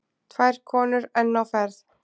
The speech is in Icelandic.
Tvær konur enn á ferð.